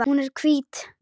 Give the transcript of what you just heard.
Hún er hvít.